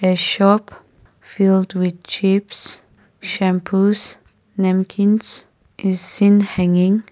a shop filled with chips shampoos namkins is seen hanging.